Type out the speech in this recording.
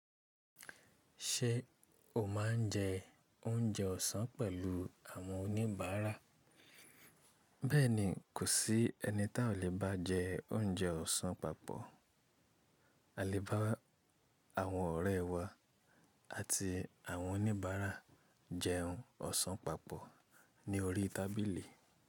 Ṣé o máa ń jẹ oúnjẹ ọ̀sán pẹ̀lú àwọn oníbàárà? Bẹ́ẹ̀ni, kò sí ẹni tí a ò le bá jẹ oúnjẹ ọ̀sán papọ̀. A le bá àwọn ọ̀rẹ́ wa àti àwọn oníbàárà jẹun ọ̀sán papọ̀ ní orí tábìlì.